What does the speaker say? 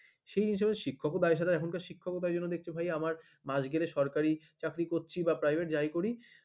সেই হিসেবে শিক্ষক পাওয়া যাচ্ছে না এখনকার শিক্ষক এখন দেখছে ভাই আমার মাস গেলে সরকারি চাকরি করছি বা private যাই করি